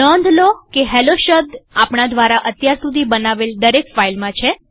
નોંધ લો કે હેલ્લો શબ્દ આપણા દ્વારા અત્યાર સુધી બનાવેલ દરેક ફાઈલમાં છે